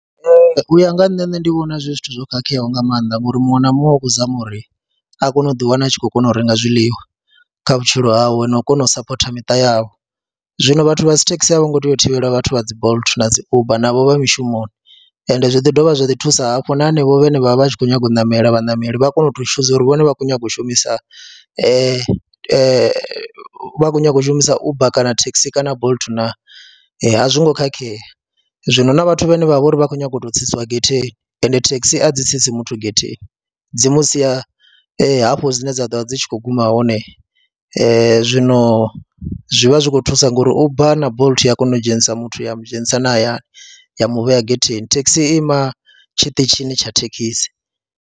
U ya nga ha nṋe, nṋe ndi vhona zwi zwithu zwo khakheaho nga maanḓa ngori muṅwe na muṅwe u khou zama uri a kone u ḓiwana a tshi khou kona u renga zwiḽiwa kha vhutshilo hawe na u kona u sapotha miṱa yavho. Zwino vhathu vha dzi thekhisi a vho ngo tea u thivheliwa vhathu vha dzi Bolt na dzi Uber, navho vha mishumoni ende zwi ḓi dovha zwa ḓi thusa hafho na hanevho vhane vha vha vha tshi khou nyaga u ṋamela, vhaṋameli vha kone u chooser uri vhone vha kho nyaga u shumisa, vha khou nyaga u shumisa Uber kana thekhisi kana Bolt na a zwo ngo khakhea. Zwino na vhathu vhane vha vha uri vha khou nyanga u tou tsitsiwa getheni ende thekhisi a dzi tsitsi muthu getheni dzi mu sia hafho dzine dza ḓo vha dzi tshi khou guma hone. Zwino zwi vha zwi khou thusa ngori Uber na Bolt ya kona u dzhenisa muthu ya mu dzhenisa na hayani ya mu vhea getheni, thekhisi i ima tshiṱitshini tsha thekhisi.